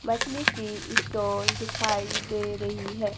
मछली की स्टॉल दिखाई दे रही है।